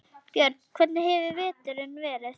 Björn: Hvernig hefur veturinn verið?